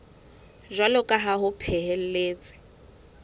jwalo ka ha ho phehelletswe